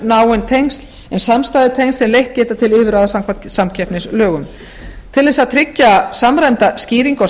náin tengsl en samstæðutengsl sem leitt geta til yfirráða samkvæmt samkeppnislögum til þess að tryggja samræmda skýringu á